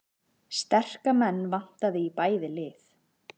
Sterka menn vantaði í bæði lið